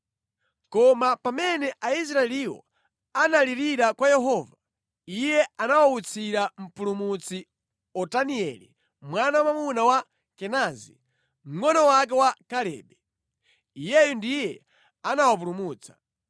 Koma pamene Aisraeliwo analirira kwa Yehova, Iye anawawutsira mpulumutsi, Otanieli mwana wamwamuna wa Kenazi, mngʼono wake wa Kalebe. Iyeyu ndiye anawapulumutsa.